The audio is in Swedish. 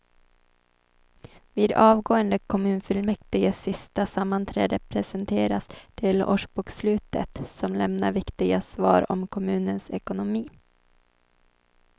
Vid avgående kommunfullmäktiges sista sammanträde presenteras delårsbokslutet som lämnar viktiga svar om kommunens ekonomi.